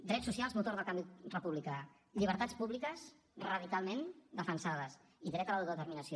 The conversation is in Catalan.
drets socials motor del canvi republicà llibertats públiques radicalment defensades i dret a l’autodeterminació